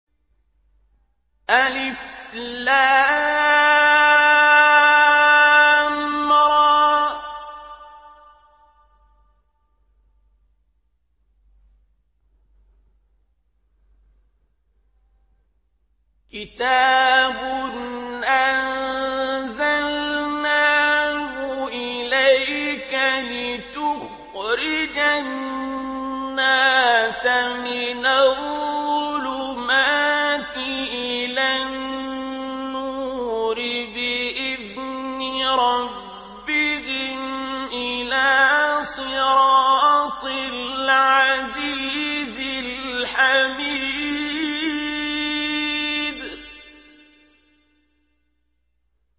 الر ۚ كِتَابٌ أَنزَلْنَاهُ إِلَيْكَ لِتُخْرِجَ النَّاسَ مِنَ الظُّلُمَاتِ إِلَى النُّورِ بِإِذْنِ رَبِّهِمْ إِلَىٰ صِرَاطِ الْعَزِيزِ الْحَمِيدِ